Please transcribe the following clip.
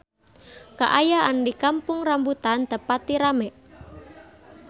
Kaayaan di Kampung Rambutan teu pati rame